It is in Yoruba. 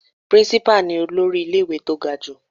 Principal ni olórí ilé ìwé tó ga jù.